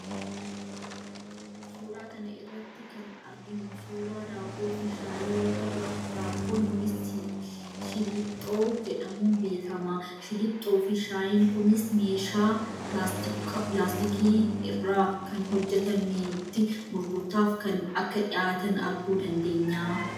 Suuraa kana irratti kana arginu suuraa daabboo fi shaayii yoo ta'u, daabboon kunis shillixxoo jedhamuun beekama. Shillixxoo fi shaayiin kunis meeshaa laastikoo irraa kan hojjetametti gurgurtaaf akka dhiyaatan arguu dandeenya.